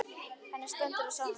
Henni stendur á sama um það.